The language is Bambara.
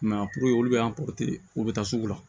I m'a ye puruke olu bɛ u bɛ taa sugu la